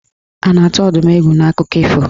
A na-atụ Ọdụm egwu n'akụkọ ifo?